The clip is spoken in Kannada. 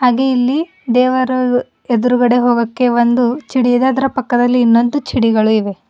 ಹಾಗೆ ಇಲ್ಲಿ ದೇವರ ಎದ್ರುಗಡೆ ಹೋಗಕ್ಕೆ ಒಂದು ಚಿಡಿದದ್ರಾ ಪಕ್ಕದಲ್ಲಿ ಇನ್ನೊಂದು ಚಿಡಿಗಳು ಇವೆ.